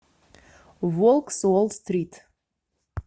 волк с уолл стрит